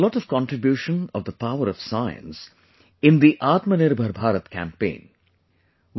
And there is a lot of contribution of the power of science in the 'Atmanirbhar Bharat Campaign'